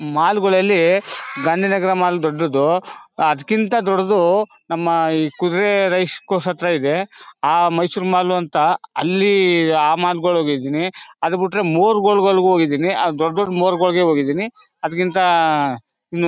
ಮಾಲ್ಲ್ಗಳಲ್ಲಿ Gandhinagar mall ದೊಡ್ಡದು ಅದ್ಕಿಂಥ ದೊಡ್ಡದು ನಮ್ಮ ಈ ಕುದ್ರೆ ರೈಸ್ ಕೋರ್ಸ್ಹ ತ್ರ ಇದೆ ಆಹ್ಹ್ ಮೈಸೂರ್ ಮಾಲ್ ಅಂತ ಅಲ್ಲಿ ಆ ಮಾಲ್ಗಳಿಗೆ ಹೋಗಿದ್ದೀನಿ ಅದು ಬಿಟ್ರೆ ಮೂರ್ ಗೋಲ್ಗಳಿಗೆ ಹೋಗಿದ್ದೀನಿ ದೊಡ್ ದೊಡ್ ಮೂರ್ ಗೋಲ್ಗಳಿಗೆ ಹೋಗಿದ್ದೀನಿ ಅದ್ಕಿಂಥ ಇನ್ -